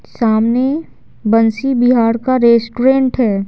सामने बंसी बिहार का रेस्टोरेंट है।